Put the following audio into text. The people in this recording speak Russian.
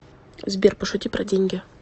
сбер пошути про деньги